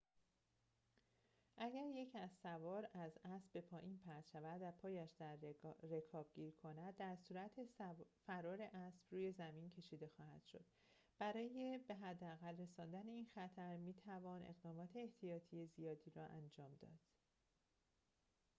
اگر یک اسب سوار از اسب به پایین پرت شود و پایش در رکاب گیر کند در صورت فرار اسب روی زمین کشیده خواهد شد برای به حداقل رساندن این خطر می توان اقدامات احتیاطی زیادی را انجام داد